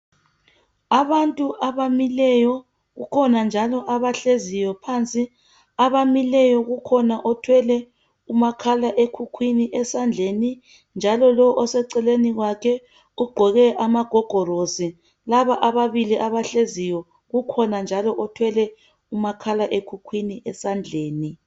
Abantu abamileyo kukhona njalo abahleziyo phansi abamileyo kukhona othwele umakhalekhukhwini esandleni njalo lo oseceleni kwakhe ugqoke amagogorosi laba ababili abahleziyo kukhona njalo othwele umakhalekhukhwini esandleni